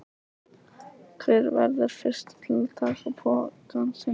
Hver verður fyrstur til að taka pokann sinn?